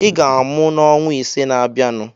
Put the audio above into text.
Ị ga-amụ n'ọnwa ise na-abịanụ.